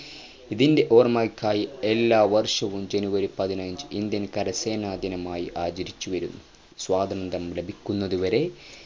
ഇതിൻ്റെ ഓർമ്മയ്ക്കായി എല്ലാവർഷവും ജനുവരി പതിനഞ്ചു Indian കരസേനാ ദിനമായി ആചരിച്ചുവരുന്നു സ്വാതന്ത്ര്യം ലഭിക്കുന്നതുവരെ